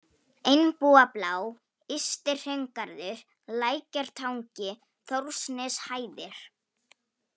Einbúablá, Ysti-Hraungarður, Lækjartangi, Þórsneshæðir